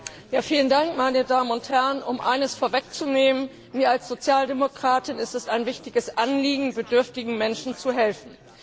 Herr Präsident, meine Damen und Herren! Um eines vorwegzunehmen Mir als Sozialdemokratin ist es ein wichtiges Anliegen, bedürftigen Menschen zu helfen.